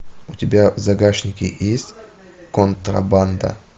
у тебя в загашнике есть контрабанда